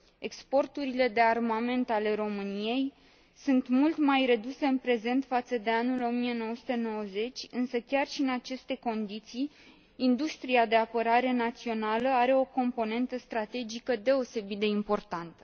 Exporturile de armament ale României sunt mult mai reduse în prezent față de anul 1990, însă chiar și în aceste condiții, industria de apărare națională are o componentă strategică deosebit de importantă.